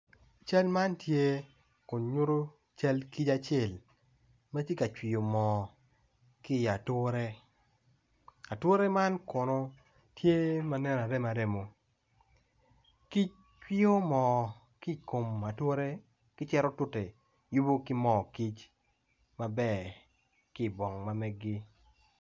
Cal tye kun nyuto cal kic acel ma tye ka cwiyo moo ki i yi ature ature man kono tye ma nen aremo aremo kic cwiyo moo ki i kom ature ki cito tute yubu ki moo kic maber ki ibong ma meggi